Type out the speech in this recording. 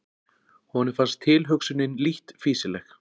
Honum fannst tilhugsunin lítt fýsileg.